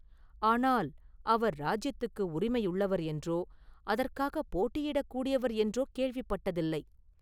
ஆனால் அவர் இராஜ்யத்துக்கு உரிமையுள்ளவர் என்றோ, அதற்காகப் போட்டியிடக் கூடியவர் என்றோ கேள்விப்பட்டதில்லை.